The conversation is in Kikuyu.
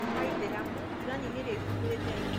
Kwa Aithĩramu, Qur'ani nĩrĩo ibuku rĩtheru.